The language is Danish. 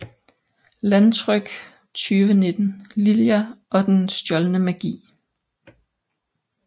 Landtryk 2019 Lilja og den stjålne magi